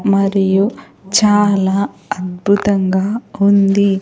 మరియు చాలా అద్భుతంగా ఉంది.